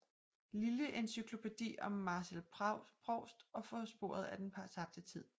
Lille encyklopædi om Marcel Proust og På sporet af den tabte tid